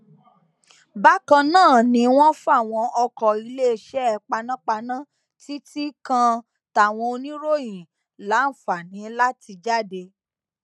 bákan náà ni wọn fàwọn ọkọ iléeṣẹ panápaná títí kan táwọn oníròyìn láǹfààní láti jáde